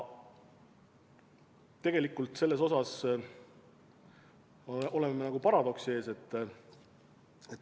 Tegelikult me selles osas oleme nagu paradoksi ees.